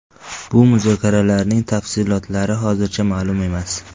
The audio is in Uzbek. Bu muzokaralarning tafsilotlari hozircha ma’lum emas.